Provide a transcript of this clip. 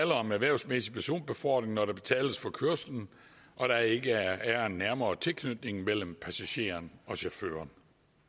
om erhvervsmæssig personbefordring når der betales for kørslen og der ikke er en nærmere tilknytning mellem passageren og chaufføren